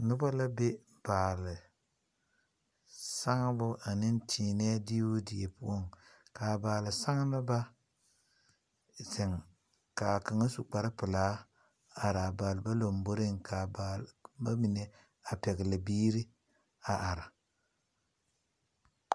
Noba la be baali saŋbo ane teeneɛ diibu die poʊ. Ka a baali saŋneba zeŋ ka a kanga su kpar pulaa are a baaliba lombɔreŋ. Ka a baalba mene a pɛgli biire a are